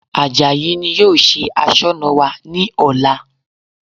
Àjàyí ni yóò ṣe Aṣọ́nà wa ní ọ̀la